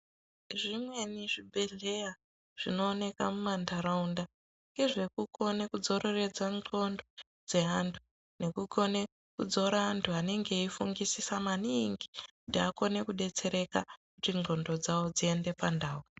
Zvimweni zvibhedleya zvinowoneka mumandaraunda ngezvekukone kudzoreredza nxondo dzeandu nekukone kudzora andu anenge ayifungisisa maningi ndakonekudetsereka kuti nxondo dzao dziende pandao.